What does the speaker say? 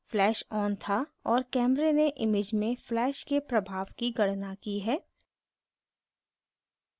flash on था और camera ने image में flash के प्रभाव की गणना की है